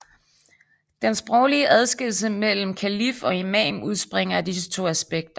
Den sproglige adskillelse mellem kalif og imam udspringer af disse to aspekter